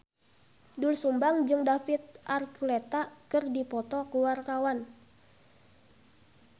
Doel Sumbang jeung David Archuletta keur dipoto ku wartawan